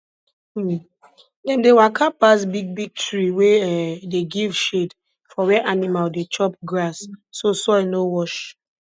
um dem dey waka pass big big tree wey um dey give shade for where animal dey chop grass so soil no wash